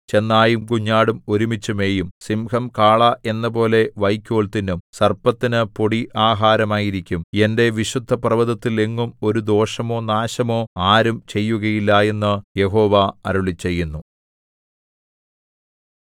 ചെന്നായും കുഞ്ഞാടും ഒരുമിച്ചു മേയും സിംഹം കാള എന്നപോലെ വയ്ക്കോൽ തിന്നും സർപ്പത്തിനു പൊടി ആഹാരമായിരിക്കും എന്റെ വിശുദ്ധപർവ്വതത്തിൽ എങ്ങും ഒരു ദോഷമോ നാശമോ ആരും ചെയ്യുകയില്ല എന്നു യഹോവ അരുളിച്ചെയ്യുന്നു